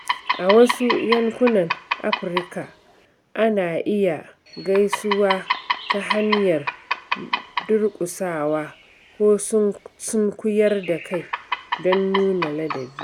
A wasu yankunan Afirka, ana iya gaisawa ta hanyar durƙusawa ko sunkuyar da kai don nuna ladabi.